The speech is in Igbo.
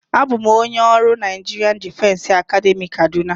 Abụ bụ m onye ọrụ Naịjirịa Difesi Academị Kaduna.